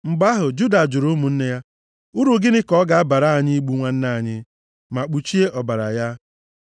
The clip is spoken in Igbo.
Mgbe ahụ, Juda jụrụ ụmụnne ya, “Uru gịnị ka ọ ga-abara anyị igbu nwanne anyị, ma kpuchie ọbara ya?